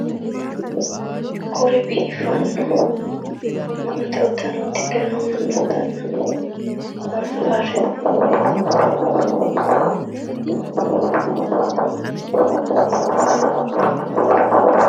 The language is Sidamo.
Kuri biiffanno amma'note uddano uddidhe noo mannootanna faarso faarsitayi nooreeti.